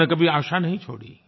उन्होंने कभी आशा नहीं छोड़ी